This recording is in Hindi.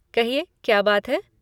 कहिए क्या बात है?